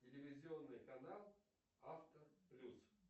телевизионный канал авто плюс